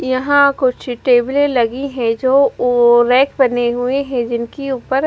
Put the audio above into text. यहाँ कुछ टेबले लगी है जो ओ रैक बने हुए है जिनके ऊपर--